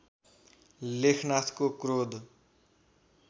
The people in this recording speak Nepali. लेखनाथको क्रोध